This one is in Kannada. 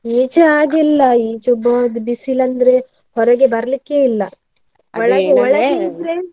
ಈಚೆ ಹಾಗಿಲ್ಲ, ಈಚೆ ಒಬ್ಬ ಬಿ~ ಬಿಸಿಲಂದ್ರೆ ಹೊರಗೆ ಬರ್ಲಿಕ್ಕೆ ಇಲ್ಲ .